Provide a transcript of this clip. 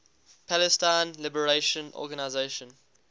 palestine liberation organization